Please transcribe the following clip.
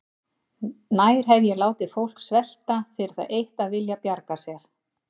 Nær hef ég látið fólk svelta fyrir það eitt að vilja bjarga sér?